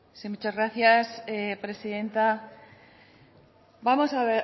sí muchas gracias presidenta vamos